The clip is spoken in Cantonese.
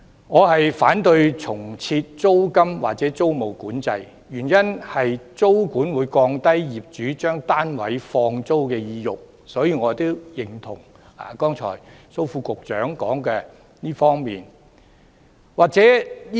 我反對重設租金或租務管制，原因是租管會降低業主將單位放租的意欲，所以我認同剛才蘇副局長對這方面提出的意見。